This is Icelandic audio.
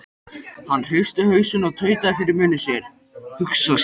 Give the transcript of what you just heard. Hann hristi hausinn og tautaði fyrir munni sér: Hugsa sér.